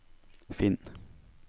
finn